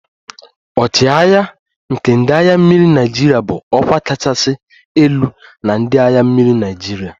"" Ochiagha nke ndị agha mmiri Naịjirịa bụ ọkwa kachasị elu na ndị agha mmiri Naịjirịa"